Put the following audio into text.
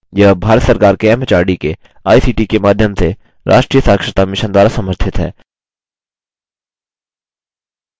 यह भारत सरकार के एमएचआरडी के आईसीटी के माध्यम से राष्ट्रीय साक्षरता mission द्वारा समर्थित है